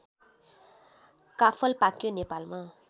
काफल पाक्यो नेपालमा